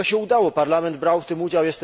I to się udało, Parlament brał w tym udział.